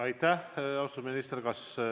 Aitäh, austatud minister!